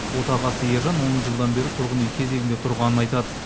отағасы ержан он жылдан бері тұрғын үй кезегінде тұрғанын айтады